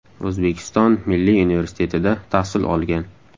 O‘zbekiston Milliy universitetida tahsil olgan.